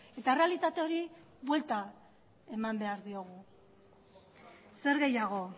eta errealitate hori buelta eman behar diogu zer gehiago